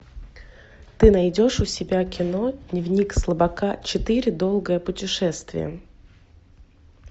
ты найдешь у себя кино дневник слабака четыре долгое путешествие